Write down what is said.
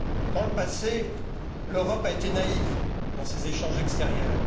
Dans le passé, l'Europe a été naïve dans ses échanges extérieurs.